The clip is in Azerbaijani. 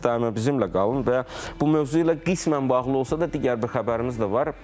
Daima bizimlə qalın və bu mövzu ilə qismən bağlı olsa da, digər bir xəbərimiz də var.